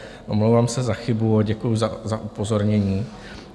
Omlouvám se za chybu a děkuji za upozornění.